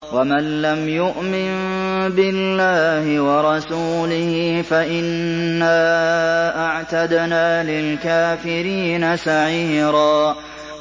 وَمَن لَّمْ يُؤْمِن بِاللَّهِ وَرَسُولِهِ فَإِنَّا أَعْتَدْنَا لِلْكَافِرِينَ سَعِيرًا